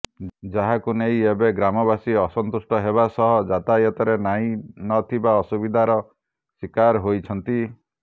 ଯାହାକୁ ନେଇ ଏବେ ଗ୍ରାମବାସୀ ଅସନ୍ତୁଷ୍ଟ ହେବା ସହ ଯାତାୟତରେ ନାହିଁ ନ ଥିବା ଅସୁବିଧାର ଶିକାର ହୋଇଛନ୍ତି